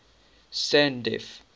sandf